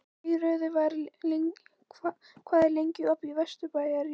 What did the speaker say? Geirröður, hvað er lengi opið í Vesturbæjarís?